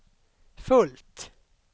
fullt